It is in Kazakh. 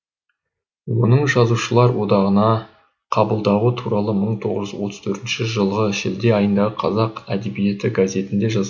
оның жазушылар одағына қабылдауы туралы мың тоғыз жүз отыз төртінші жылғы шілде айындағы қазақ әдебиеті газетінде жаз